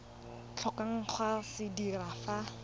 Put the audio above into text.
tlhokang go se dira fa